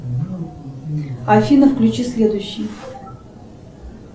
афина включи следующий